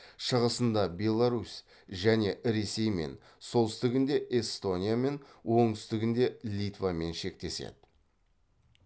шығысында беларусь және ресеймен солтүстігінде эстониямен оңтүстігінде литвамен шектеседі